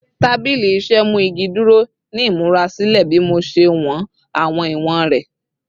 Tabili iṣẹ mu igi duro ni imurasilẹ bi Mo ṣe wọn awọn iwọn rẹ